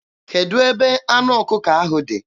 Kedụ ebe anụ ọkụkọ ahụ dị?